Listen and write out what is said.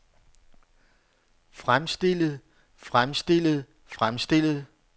fremstillet fremstillet fremstillet